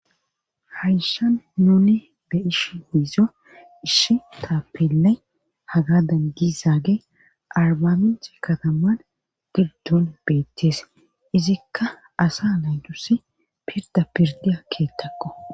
Hayshan nuni be ishi hiizo ishi ta pila haga dan gizaage arbaminti kataman giddun beettees izikka asa laytusi pirda pirdiya keettakko